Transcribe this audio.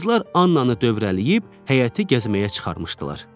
Qızlar Annanı dövrələyib həyəti gəzməyə çıxarmışdılar.